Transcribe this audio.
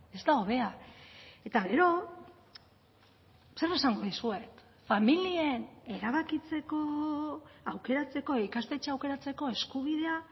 ez da hobea eta gero zer esango dizuet familien erabakitzeko aukeratzeko ikastetxea aukeratzeko eskubidea